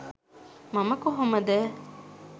මම කොහොමද